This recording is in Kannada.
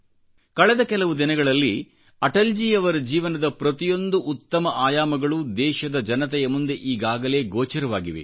ಕಳೆದ ಕೆಲವು ದಿನಗಳಲ್ಲಿ ಅಟಲ್ ಜಿ ರವರ ಜೀವನದ ಪ್ರತಿಯೊಂದು ಉತ್ತಮ ಆಯಾಮಗಳು ದೇಶದ ಜನತೆಯ ಮುಂದೆ ಈಗಾಗಲೇ ಗೋಚರವಾಗಿವೆ